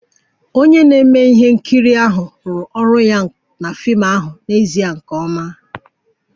Onye na-eme ihe nkiri ahụ rụrụ ọrụ ya na fim ahụ n'ezie nke ọma